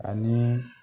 Ani